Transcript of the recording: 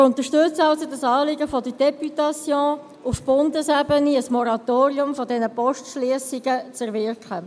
Wir unterstützen also das Anliegen der Députation, auf Bundesebene ein Moratorium dieser Postschliessungen zu erwirken.